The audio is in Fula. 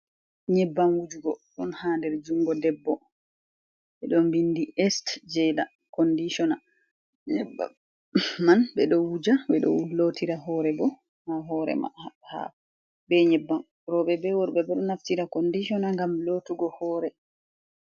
Nyebbam Wujugo, ɗon ha der Jungo Debbo, ɓeɗo Bindi es Jeɗa Kondicina. Nyebba man ɓeɗo Wuja ɓeɗo Lottira Hore bo, ha Horema ha ha be Nyebba Roɓe be Worɓe ɓeɗo Naftira Kondicona Ngam Lottugo Hore.